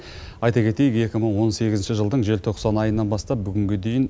айта кетейік екі мың он сегізінші жылдың желтоқсан айынан бастап бүгінге дейін